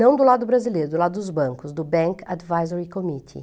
Não do lado brasileiro, do lado dos bancos, do Bank Advisory Committee.